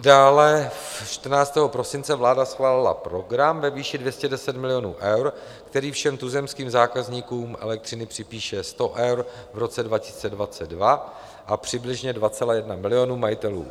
Dále 14. prosince vláda schválila program ve výši 210 milionů eur, který všem tuzemským zákazníkům elektřiny připíše 100 eur v roce 2022 a přibližně 2,1 milionu majitelů